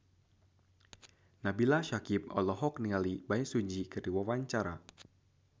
Nabila Syakieb olohok ningali Bae Su Ji keur diwawancara